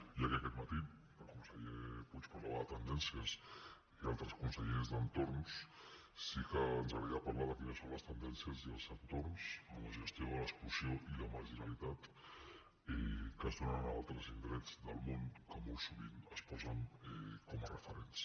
ja que aquest matí el conseller puig parlava de tendències i altres consellers d’entorns sí que ens agradaria parlar de quines són les tendències i els entorns en la gestió de l’exclusió i la marginalitat que es donen en altres indrets del món que molt sovint es posen com a referents